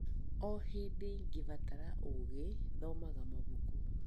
O hĩndĩ ngĩbatara ũũgĩ, thomaga mabuku.